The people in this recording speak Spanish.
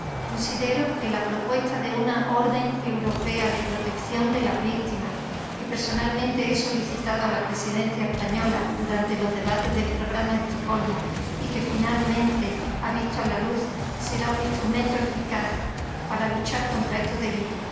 Considero que la propuesta de una orden europea de protección de las víctimas, que personalmente he solicitado a la Presidencia española durante los debates del programa de Estocolmo y que finalmente ha visto la luz, será un instrumento eficaz para luchar contra estos delitos.